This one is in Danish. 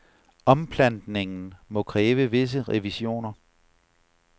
Omplantningen må kræve visse revisioner.